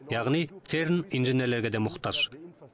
яғни церн инженерлерге де мұқтаж